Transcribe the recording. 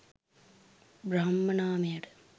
බ්‍රහ්ම නාමයට